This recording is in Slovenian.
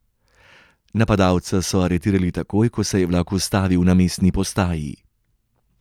Napadalca so aretirali takoj, ko se je vlak ustavil na mestni postaji.